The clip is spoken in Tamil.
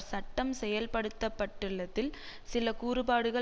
சட்டம் செயல்படுத்தப்பட்டுள்ளதில் சில கூறுபாடுகள்